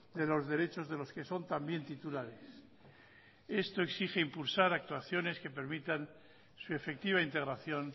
de los derechos de los que son también titulares esto exige impulsar actuaciones que permitan su efectiva integración